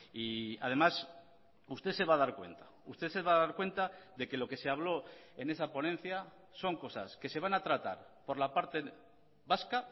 y además usted se va a dar cuenta usted se va a dar cuenta de que lo que se habló en esa ponencia son cosas que se van a tratar por la parte vasca